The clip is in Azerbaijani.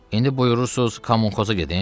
İndi buyurursuz kommunxozə gedim?